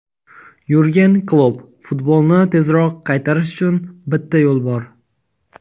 Yurgen Klopp: "Futbolni tezroq qaytarish uchun bitta yo‘l bor".